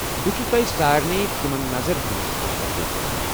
بہٕ چھس تۄہہ سارنٕے تمن نظر دِنس حوصلہٕ افضٲیی كران ۔